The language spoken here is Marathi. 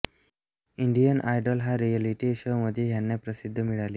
इंडियन आयडॉल हा रियलिटी शो मध्ये ह्याना प्रसिद्धी मिळाली